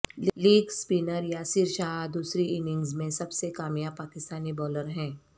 league spinner Yasir Shah دوسری innings میں سب سے کامیاب پاکستانی بولر ہیں